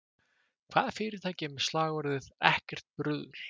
Hvaða fyrirtæki er með slagorðið ekkert bruðl?